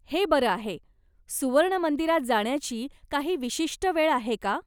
हे बरं आहे. सुवर्ण मंदिरात जाण्याची काही विशिष्ट वेळ आहे का?